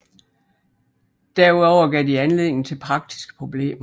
Derudover gav de anledning til praktiske problemer